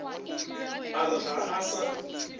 a re ga a sa